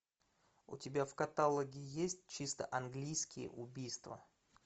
у тебя в каталоге есть чисто английские убийства